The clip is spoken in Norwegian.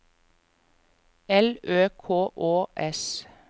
L Ø K Å S